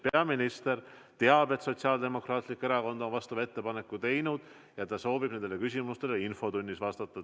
Peaminister teab, et Sotsiaaldemokraatlik Erakond on vastava ettepaneku teinud, ja ta soovib nendele küsimustele infotunnis vastata.